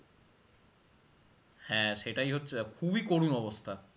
হ্যাঁ সেটাই হচ্ছে ব্যাপ~ খুবই করুন অবস্থা